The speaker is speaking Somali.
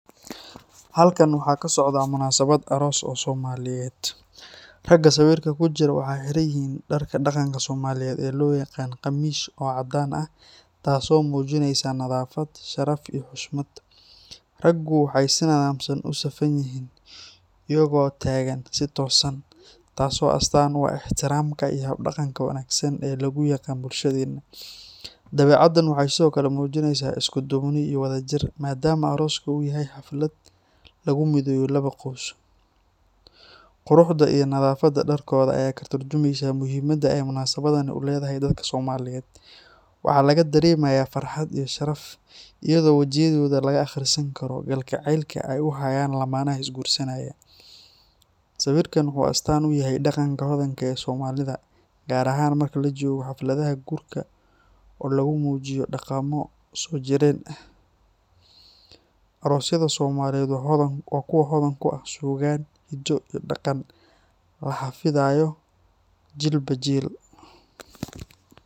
Halkan waxaa ka socdaah munaasabad aroos oo Soomaaliyeed. Ragga sawirka ku jira waxay xiran yihiin dharka dhaqanka Soomaaliyeed ee loo yaqaan "qamiis" oo caddaan ah, taasoo muujinaysa nadaafad, sharaf iyo xushmad. Raggu waxay si nidaamsan u safan yihiin, iyaga oo taagan si toosan, taas oo astaan u ah ixtiraamka iyo hab-dhaqanka wanaagsan ee lagu yaqaan bulshadeena. Dabeecaddan waxay sidoo kale muujinaysaa isku-duubni iyo wadajir, maadaama arooska uu yahay xaflad lagu mideeyo laba qoys. Quruxda iyo nadaafadda dharkooda ayaa ka tarjumaysa muhiimadda ay munaasabaddani u leedahay dadka Soomaaliyeed. Waxaa laga dareemayaa farxad iyo sharaf, iyadoo wejiyadooda laga akhrisan karo kalgacaylka ay u hayaan lamaanaha isguursanaya. Sawirkan wuxuu astaan u yahay dhaqanka hodanka ah ee Soomaalida, gaar ahaan marka la joogo xafladaha guurka oo lagu muujiyo dhaqamo soo jireen ah. Aroosyada Soomaaliyeed waa kuwo hodan ku ah suugaan, hiddo iyo dhaqan la xafidayo jiilba jiil.